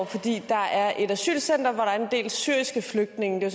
fordi der er et asylcenter hvor der er en del syriske flygtninge det